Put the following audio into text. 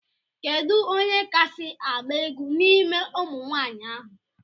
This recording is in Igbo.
Kedụ onye kasi agba egwu n'ime ụmụnwanyi ahu?